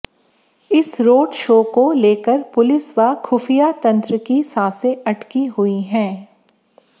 इस road show को लेकर पुलिस व खुफिया तंत्र की सांसें अटकी हुई हैं